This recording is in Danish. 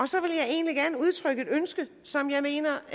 så vil jeg egentlig gerne udtrykke et ønske som jeg mener